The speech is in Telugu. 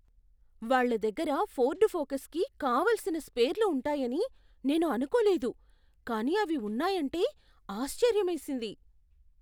వాళ్ళ దగ్గర ఫోర్డ్ ఫోకస్కి కావలసిన స్పేర్లు ఉంటాయని నేను అనుకోలేదు కానీ అవి ఉన్నాయంటే ఆశ్చర్యమేసింది.